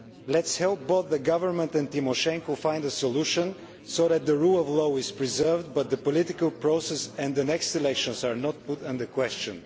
Let us help both the government and Ms Tymoshenko find a solution so that the rule of law is preserved but the political process and the next elections are not called into question.